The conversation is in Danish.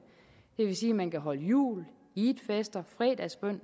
vil sige at man kan holde jul eidfester fredagsbøn